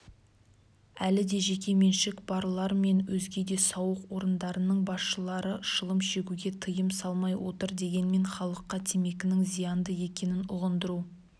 әлі де жекеменшік барлар мен өзге де сауық орындарының басшылары шылым шегуге тыйым салмай отыр дегенмен халыққа темекінің зиянды екенін ұғындыру